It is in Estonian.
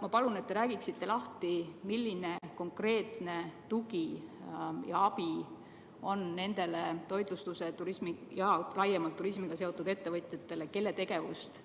Ma palun, et te räägiksite lahti, milline konkreetne tugi ja abi on olemas nendele toitlustusega ja laiemalt turismiga seotud ettevõtjatele, kelle tegevust